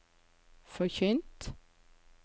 forkynt